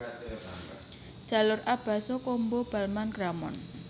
Jalur A Basso Cambo Balma Gramont